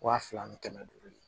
Wa fila ni kɛmɛ duuru ye